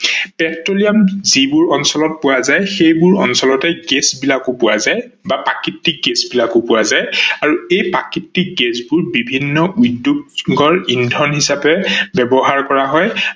petroleum যিবোৰ অঞ্চলত পোৱা যায় সেইবোৰ অঞ্চলতে গেছ বিলাকো পোৱা যায় বা প্ৰাকৃতিক গেছ বিলাকো পোৱা যায় আৰু সেই প্ৰাকৃতিক গেছ্বোৰ বিভিন্ন উদ্যোগ গৰ ইন্ধন হিচাপে ব্যৱহাৰ কৰা হয়